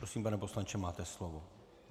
Prosím, pane poslanče, máte slovo.